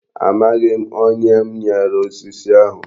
Amaghị m. Onye m nyere osisi ahụ.